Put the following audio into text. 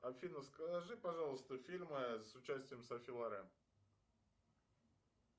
афина скажи пожалуйста фильмы с участием софи лорен